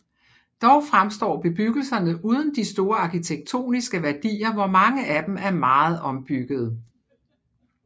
Dog fremstår bebyggelserne uden de store arkitektoniske værdier hvor mange af dem er meget ombyggede